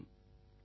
வணக்கம்